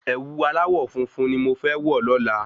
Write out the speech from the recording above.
Ẹ̀wu aláwọ̀ funfun ni mo fẹ́ wọ̀ lọ́la